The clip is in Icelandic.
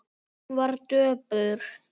Hún var döpur.